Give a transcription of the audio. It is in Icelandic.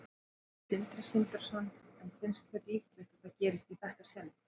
Sindri Sindrason: En finnst þér líklegt að það gerist í þetta sinn?